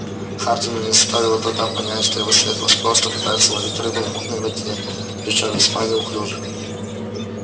хардину не составило труда понять что его светлость просто пытается ловить рыбку в мутной воде причём весьма неуклюже